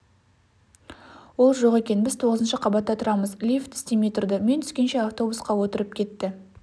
ол жоқ екен біз тоғызыншы қабатта тұрамыз лифт істемей тұрды мен түскенше автобусқа отырып кетті